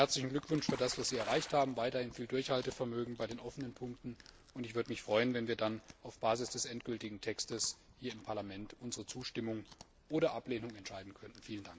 Herzlichen Glückwunsch für das, was Sie erreicht haben, weiterhin viel Durchhaltevermögen bei den offenen Punkten, und ich würde mich freuen, wenn wir dann auf Basis des endgültigen Textes hier im Parlament über unsere Zustimmung oder Ablehnung entscheiden könnten.